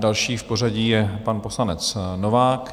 Další v pořadí je pan poslanec Novák.